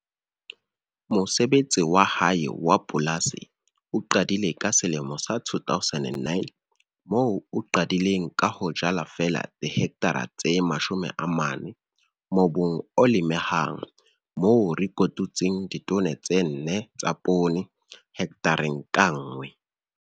Mosebetsi wa hae wa polasi o qadile ka 2009 moo a qadileng ka ho jala feela dihekthara tse 40 mobung o lemehang, moo a kotutseng ditone tse 4 tsa poone hekthareng ka nngwe.